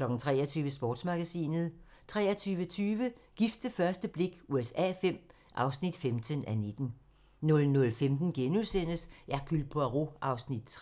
23:00: Sportsmagasinet 23:20: Gift ved første blik USA V (15:19) 00:15: Hercule Poirot (3:75)*